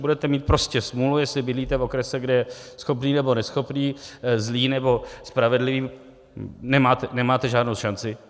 Budete mít prostě smůlu, jestliže bydlíte v okrese, kde je schopný nebo neschopný, zlý nebo spravedlivý, nemáte žádnou šanci.